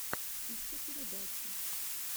ищи передачи